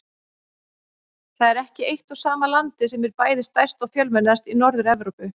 Það er ekki eitt og sama landið sem er bæði stærst og fjölmennast í Norður-Evrópu.